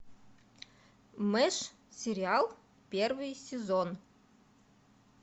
мэш сериал первый сезон